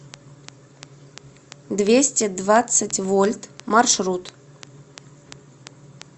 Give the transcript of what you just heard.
двести двадцать вольт маршрут